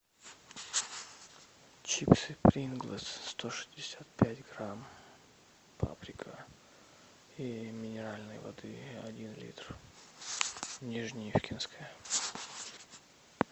чипсы принглс сто шестьдесят пять грамм паприка и минеральной воды один литр нижнеивкинская